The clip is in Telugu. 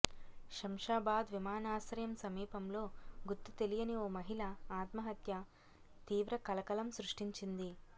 శంషాబాద్ విమానాశ్రయం సమీపంలో గుర్తుతెలియని ఓ మహిళ ఆత్మహత్య తీవ్ర కలకలం సృష్టించింది